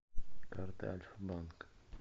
карта альфа банк